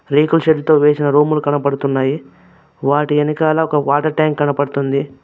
రేకుల షెడ్ తో వేసిన రూములు కనబడుతున్నాయి వాటి వెనకాల వాటర్ ట్యాంక్ కనపడుతుంది.